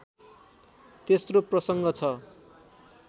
तेस्रो प्रसङ्ग छ